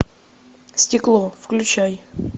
стекло включай